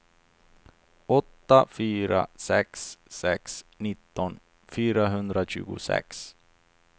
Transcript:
åtta fyra sex sex nitton fyrahundratjugosex